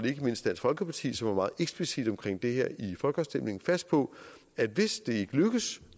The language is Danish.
ikke mindst dansk folkeparti som var meget eksplicit omkring det her i folkeafstemningen fast på at hvis det ikke lykkes